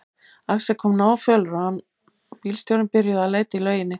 Axel kom náfölur og hann og bílstjórinn byrjuðu að leita í lauginni.